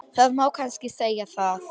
Það má kannski segja það.